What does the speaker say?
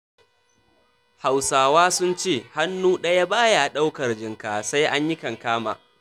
Hausawa sun ce, hannu ɗaya ba ya ɗaukar jinka, sai an kankama.